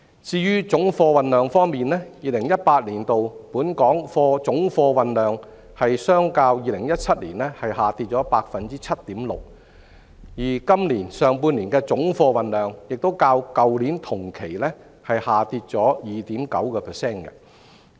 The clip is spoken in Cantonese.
至於總貨運量方面 ，2018 年本港總貨運量較2017年下跌 7.6%， 而今年上半年的總貨運量亦較去年同期累跌 2.9%。